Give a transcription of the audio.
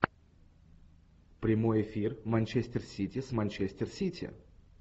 прямой эфир манчестер сити с манчестер сити